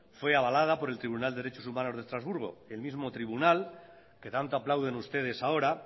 fue avalada por el tribunal de derechos humanos de estrasburgo el mismo tribunal que tanto aplauden ustedes ahora